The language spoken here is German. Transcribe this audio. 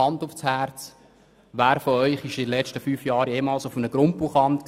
Hand aufs Herz, wer von Ihnen war in den letzten fünf Jahren jemals auf einem Grundbuchamt?